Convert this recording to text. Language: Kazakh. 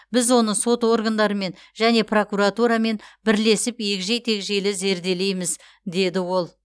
біз оны сот органдарымен және прокуратурамен бірлесіп егжей тегжейлі зерделейміз деді ол